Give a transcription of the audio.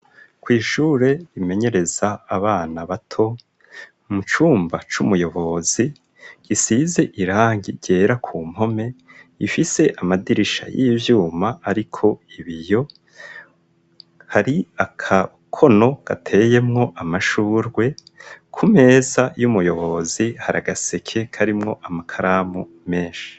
Kw'ishure rimenyereza abana bato, mu cumba c'umuyobozi gisize irangi ryera ku mpome ifise amadirisha y'ivyuma ariko ibiyo, hari agakono gateyemwo amashurwe, ku meza y'umuyobozi hari agaseke karimwo amakaramu menshi.